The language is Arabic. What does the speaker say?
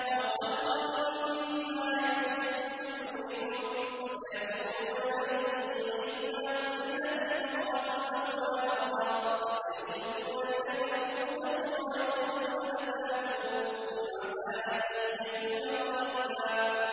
أَوْ خَلْقًا مِّمَّا يَكْبُرُ فِي صُدُورِكُمْ ۚ فَسَيَقُولُونَ مَن يُعِيدُنَا ۖ قُلِ الَّذِي فَطَرَكُمْ أَوَّلَ مَرَّةٍ ۚ فَسَيُنْغِضُونَ إِلَيْكَ رُءُوسَهُمْ وَيَقُولُونَ مَتَىٰ هُوَ ۖ قُلْ عَسَىٰ أَن يَكُونَ قَرِيبًا